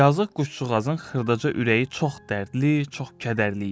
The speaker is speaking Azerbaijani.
Yazıq quşçuğazın xırdaca ürəyi çox dərdli, çox kədərli idi.